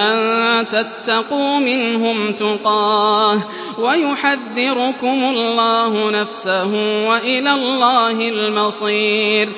أَن تَتَّقُوا مِنْهُمْ تُقَاةً ۗ وَيُحَذِّرُكُمُ اللَّهُ نَفْسَهُ ۗ وَإِلَى اللَّهِ الْمَصِيرُ